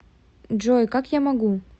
джой как я могу